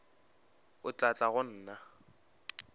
o tla tla go nna